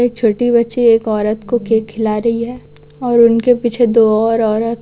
एक छोटी बच्ची एक औरत को केक खिला रही हैं और उनके पीछे दो और औरत--